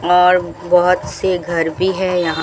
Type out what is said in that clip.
और बहुत से घर भी है यहां--